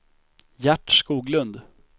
Gert Skoglund